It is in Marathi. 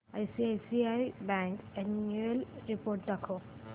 आयसीआयसीआय बँक अॅन्युअल रिपोर्ट दाखव